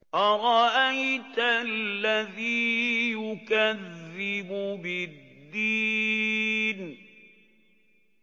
أَرَأَيْتَ الَّذِي يُكَذِّبُ بِالدِّينِ